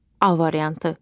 A variantı.